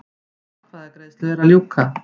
Atkvæðagreiðslu er að ljúka